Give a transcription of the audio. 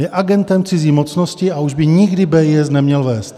Je agentem cizí mocnosti a už by nikdy BIS neměl vést.